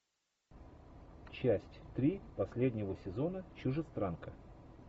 часть три последнего сезона чужестранка